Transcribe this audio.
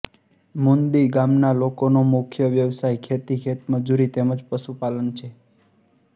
મુંદી ગામના લોકોનો મુખ્ય વ્યવસાય ખેતી ખેતમજૂરી તેમ જ પશુપાલન છે